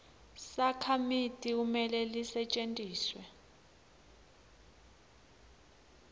sakhamiti kumele lisetjentiswe